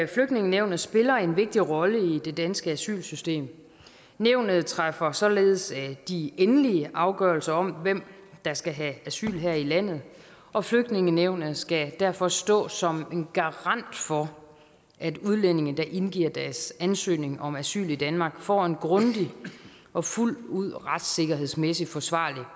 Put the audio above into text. flygtningenævnet spiller en vigtig rolle i det danske asylsystem nævnet træffer således de endelige afgørelser om hvem der skal have asyl her i landet og flygtningenævnet skal derfor stå som en garant for at udlændinge der indgiver deres ansøgning om asyl i danmark får en grundig og fuldt ud retssikkerhedsmæssig forsvarlig